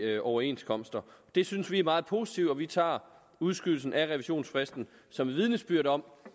overenskomster det synes vi er meget positivt og vi tager udskydelsen af revisionsfristen som et vidnesbyrd om